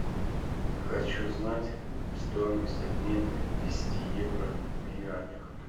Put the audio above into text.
хочу знать стоимость обмена десяти евро в юанях